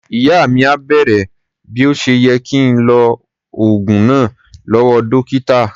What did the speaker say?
Ìyá mi à bèrè bí ó ṣe yẹ kí ń lo oògùn náà lọ́wọ́ dọ́kítà.